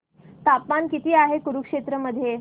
तापमान किती आहे कुरुक्षेत्र मध्ये